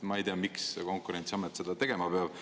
Ma ei tea, miks Konkurentsiamet seda tegema peab.